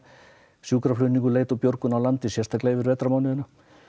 sjúkraflutningum leit og björgun sérstaklega yfir vetrarmánuðina